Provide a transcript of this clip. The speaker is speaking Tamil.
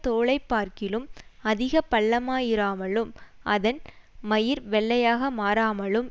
தோலைப்பார்க்கிலும் அதிக பள்ளமாயிராமலும் அதன் மயிர் வெள்ளையாக மாறாமலும்